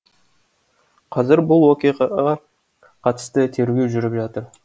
қазір бұл оқиғаға қатысты тергеу жүріп жатыр